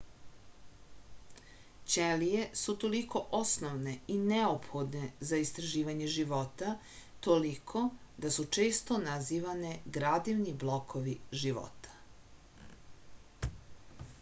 ćelije su toliko osnovne i neophodne za istraživanje života toliko da su često nazivane gradivni blokovi života